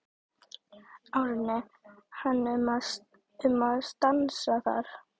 Árni hann um að stansa þar.